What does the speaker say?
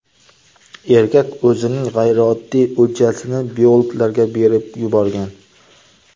Erkak o‘zining g‘ayrioddiy o‘ljasini biologlarga berib yuborgan.